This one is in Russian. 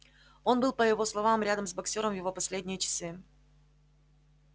он был по его словам рядом с боксёром в его последние часы